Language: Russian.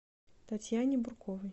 татьяне бурковой